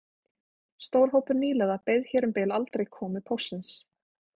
Stór hópur nýliða beið hér um bil aldrei komu póstsins